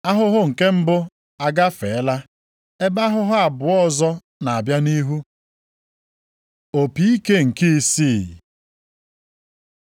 Ahụhụ nke mbụ agafeela, ebe ahụhụ abụọ ọzọ na-abịa nʼihu. Opi ike nke isii